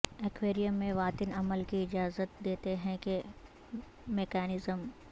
aquarium میں واتن عمل کی اجازت دیتے ہیں کہ میکانزم